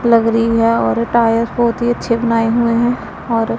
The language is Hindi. लग रही है और टायर बहुत ही अच्छे बनाए हुए हैं और।